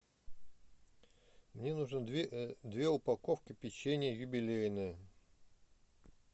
мне нужно две упаковки песенья юбилейное